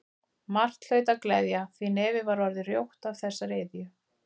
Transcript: Margt hlaut að gleðja því nefið var orðið rjótt af þessari iðju.